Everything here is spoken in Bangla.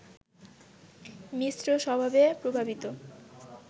মিশ্র স্বভাবে প্রভাবিত